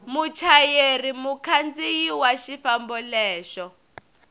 muchayeri mukhandziyi wa xifambo lexo